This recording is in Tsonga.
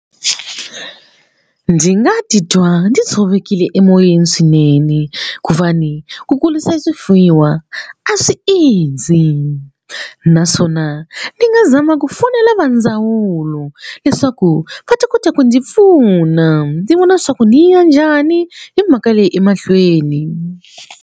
Ndzi nga titwa ndzi tshovekile emoyeni swinene ku ku kurisa swifuyiwa a swi easy naswona ni nga zama ku fonela va ndzawulo leswaku va ta kota ku ndzi pfuna ndzi vona leswaku ndzi ya njhani hi mhaka leyi emahlweni.